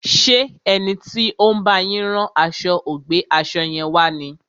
Ṣé ẹni tí ó ń bá yín rán aṣo ò gbé aṣo yẹn wá ni?